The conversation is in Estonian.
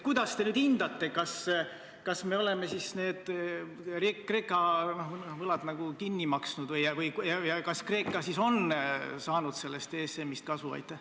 Kuidas te nüüd hindate, kas me oleme siis Kreeka võlad kinni maksnud ja kas Kreeka on saanud sellest ESM-ist kasu?